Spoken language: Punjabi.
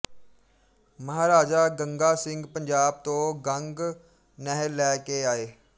ਮਹਾਰਾਜਾ ਗੰਗਾ ਸਿੰਘ ਪੰਜਾਬ ਤੋ ਗੰਗ ਨਹਿਰ ਲੈ ਕੇ ਆਏ